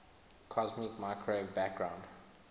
cosmic microwave background